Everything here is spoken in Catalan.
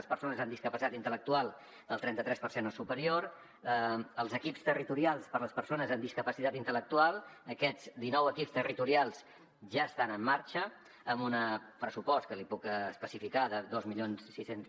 les persones amb discapacitat intel·lectual del trenta tres per cent o superior els equips territorials per a les persones amb discapacitat intel·lectual aquests dinou equips territorials ja estan en marxa amb un pressupost que li puc especificar de dos mil sis cents